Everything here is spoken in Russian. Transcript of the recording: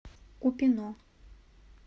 купино